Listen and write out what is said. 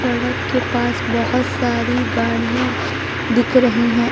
सड़क के पास बहोत सारी गाड़ियां दिख रही हैं।